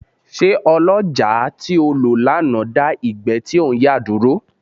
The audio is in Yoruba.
Ṣé ọlọ́jàá tí o lò lánàá dá ìgbẹ́ tí ò ń yà dúró.